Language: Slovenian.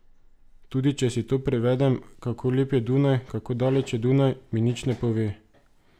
Tudi če si to prevedem, kako lep je Dunaj, kako daleč je Dunaj, mi nič ne pove.